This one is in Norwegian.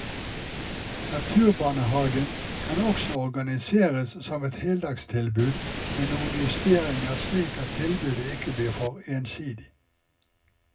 Naturbarnehagen kan også organiseres som et heldagstilbud med noen justeringer slik at tilbudet ikke blir for ensidig.